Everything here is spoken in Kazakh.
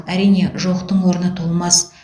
әрине жоқтың орны толмас